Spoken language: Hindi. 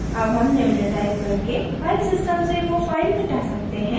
अब हम निम्न टाइप करके file system से now file मिटा सकते हैं